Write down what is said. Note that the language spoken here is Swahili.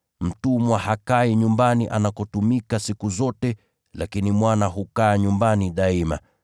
Mtumwa hakai nyumbani anakotumika siku zote, lakini mwana hukaa nyumbani daima.